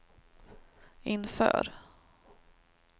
inför